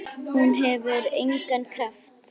En hún hefur engan kraft.